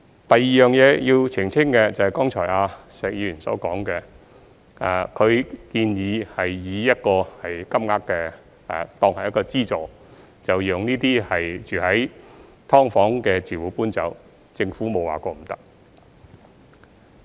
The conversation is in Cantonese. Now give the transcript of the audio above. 第二點要澄清的，是剛才石議員所說，他建議以一個金額當作資助，讓"劏房"的住戶搬走，政府沒有說過不可以。